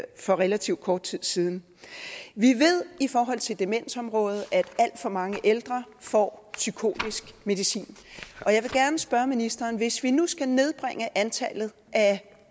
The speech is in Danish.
for relativt kort tid siden vi ved i forhold til demensområdet at alt for mange ældre får psykotisk medicin og jeg vil gerne spørge ministeren hvis vi nu skal nedbringe antallet af